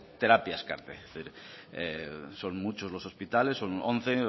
terapias car son muchos los hospitales son once